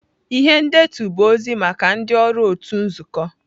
Ihe ndetu bụ ozi maka ndị ọrụ otu nzukọ.